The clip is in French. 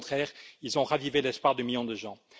au contraire, ils ont ravivé l'espoir de millions de gens.